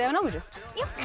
þið náið þessu